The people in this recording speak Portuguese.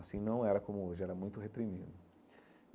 Assim não era como hoje, era muito reprimido.